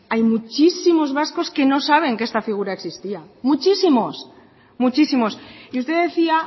hay muchísimos vascos que no saben que esta figura existía muchísimos muchísimos y usted decía